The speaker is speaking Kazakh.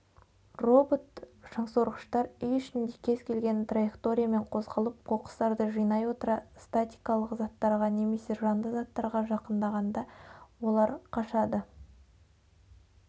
робот-шаңсорғыштар үй ішінде кез-келген траекториямен қозғалып қоқысықтарды жинай отыра статикалық заттарға немесе жанды заттарға жақындағана олар қашады